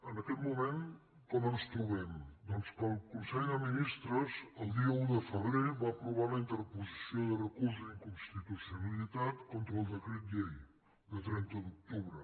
en aquest moment com ens trobem doncs que el consell de ministres el dia un de febrer va aprovar la interposició de recurs d’inconstitucionalitat contra el decret llei de trenta d’octubre